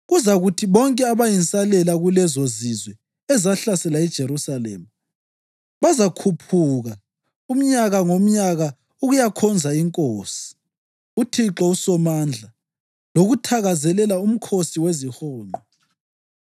Kuzakuthi bonke abayinsalela kulezozizwe ezahlasela iJerusalema, bazakhuphuka umnyaka ngomnyaka ukuyakhonza Inkosi, uThixo uSomandla lokuthakazelela uMkhosi weziHonqo.